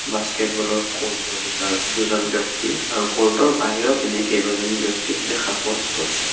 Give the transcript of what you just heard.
বাস্কেটবলৰ ক'ৰ্টৰ ভিতৰত দুজন ব্যক্তি আৰু ক'ৰ্টৰ বাহিৰৰ পিনে কেবাজন ব্যক্তি দেখা পোৱা গৈছে।